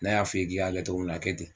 Na y'a fɔ i ye k'i k'a kɛ cogo min na a kɛ ten